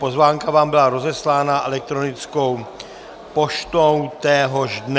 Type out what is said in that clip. Pozvánka vám byla rozeslána elektronickou poštou téhož dne.